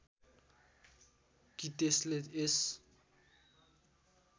कि त्यसले यस